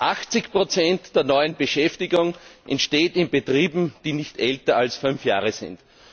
80 der neuen Beschäftigung entsteht in Betrieben, die nicht älter als fünf Jahre sind.